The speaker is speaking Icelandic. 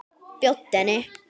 Bjóddu henni.